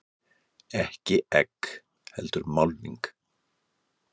Ekki egg heldur málning.